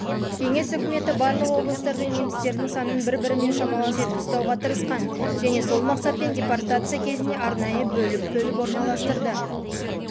кеңес үкіметі барлық облыстарда немістердің санын бір-бірімен шамалас етіп ұстауға тырысқан және сол мақсатпен депортация кезінде арнайы бөліп-бөліп